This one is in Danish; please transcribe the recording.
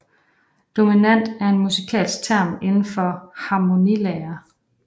Dominant er en musikalsk term inden for harmonilære